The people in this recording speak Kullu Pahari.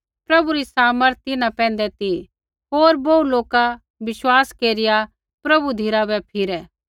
प्रभु री समर्थ तिन्हां पैंधै ती होर बोहू लोका विश्वास केरिआ प्रभु धिराबै फिरै